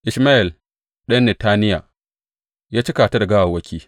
Ishmayel ɗan Netaniya ya cika ta da gawawwaki.